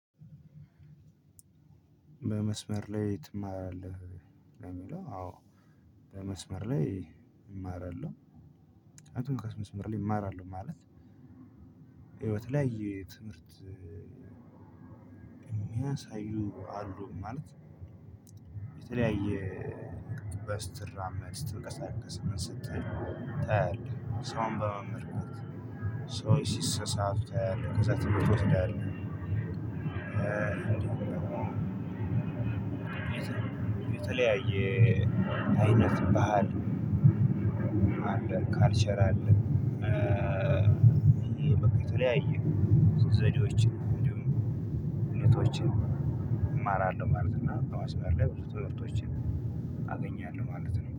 በመስመር ላይ ትማራለህ? የሚለው አዎ። በመስመር ላይ ይማራሉ። አይ ቲንክ በመስመር ላይ ይማራሉ ማለት። ህይወት ላይ ትምህርት የሚያሳዩ አሉ ማለት። የተለያየ ስተራመድ ስትንቀሳቀስ ምን ስትል ታያለህ ስራውን በመመርመር። ሰው ሲሳሳቱ ከዛ ትምህርት ቤት እንዳለ። የተለያየ አይነት ባህል አለ ካልቸር አለ። በቃ ተለያየ ሱስ ዘዴዎችን እንዲሁም እውነቶችን እማራለሁ ማለት ነው። እና በመስመር ላይ ብዙ ትምህርቶችን አገኛለሁ ማለት ነው